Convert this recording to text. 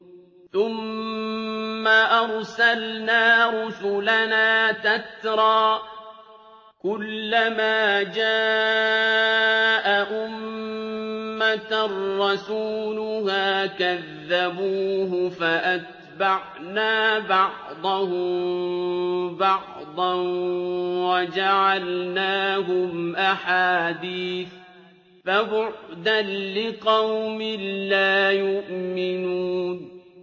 ثُمَّ أَرْسَلْنَا رُسُلَنَا تَتْرَىٰ ۖ كُلَّ مَا جَاءَ أُمَّةً رَّسُولُهَا كَذَّبُوهُ ۚ فَأَتْبَعْنَا بَعْضَهُم بَعْضًا وَجَعَلْنَاهُمْ أَحَادِيثَ ۚ فَبُعْدًا لِّقَوْمٍ لَّا يُؤْمِنُونَ